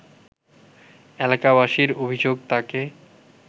এলাকাবাসীর অভিযোগ তাকে